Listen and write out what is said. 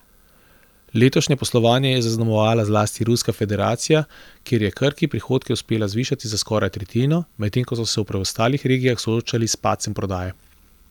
Letošnje poslovanje je zaznamovala zlasti Ruska federacija, kjer je Krki prihodke uspelo zvišati za skoraj tretjino, medtem ko so se v preostalih regijah soočali s padcem prodaje.